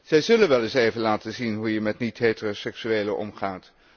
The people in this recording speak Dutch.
Zij zullen wel eens even laten zien hoe je met niet heteroseksuelen omgaat.